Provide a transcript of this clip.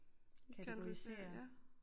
Kategorisere